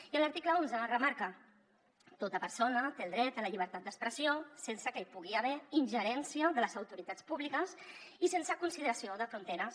i en l’article onze remarca tota persona té el dret a la llibertat d’expressió sense que hi pugui haver ingerència de les autoritats públiques i sense consideració de fronteres